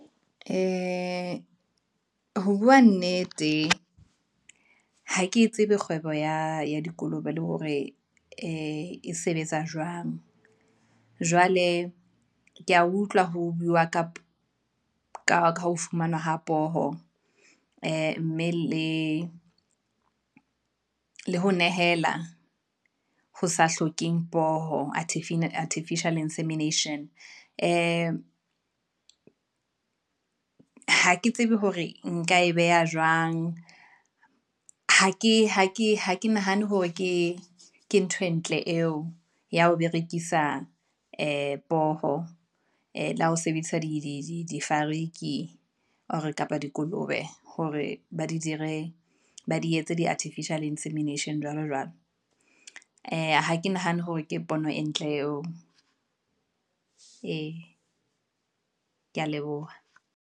Ee, ho bua nnete, hake tsebe kgwebo ya dikolobe le hore e sebetsa jwang. Jwale ke ya utlwa ho bua ka ka ha fumanwa ho poho, ee, mme le ho nehela ho sa hlokeng poho, artificial insemination Ha ke tsebe hore nka e beha jwang, ha ke nahane hore ke ntho e ntle eo, ya ho berekisa ee poho, ee le ha ho sebedisa difariki or kapa dikolobe hore ba di dire, ba di etse di artificial insemination jwalo jwalo. Ee, ha ke nahane hore ke pono e ntle eo, ee ke ya leboha.